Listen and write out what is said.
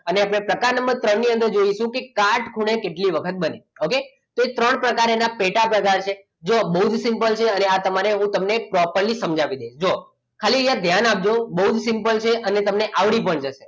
અને ટકા નંબર ત્રણ ની અંદર જોઈશું કે કાટખૂણે કેટલી વખત બને okay તો ત્રણ પ્રકારે એના પેટા પ્રકાર છે જુઓ બહુ simple છે અને આ તમારે હું તમને proper સમજાવી દઈશ ખાલી અહીંયા ધ્યાન આપજો બહુ simple છે અને આવડી પણ જશે